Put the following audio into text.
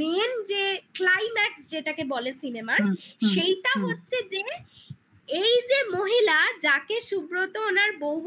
main যে climax যেটাকে বলে cinema -র হুম হুম হুম সেইটা হচ্ছে যে এই যে মহিলা যাকে সুব্রত ওনার বউ বলে